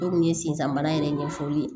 O kun ye sensanbana yɛrɛ ɲɛfɔli ye